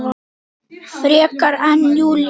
Frekar en Júlía.